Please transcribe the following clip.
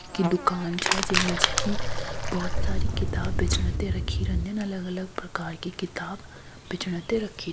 कि दुकान छ जै मा जी कि बहोत सारी किताब बेचण ते रखी रंदिन अलग अलग प्रकार की किताब बेचण त रखी --